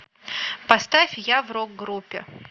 поставь я в рок группе